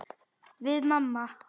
Við mamma.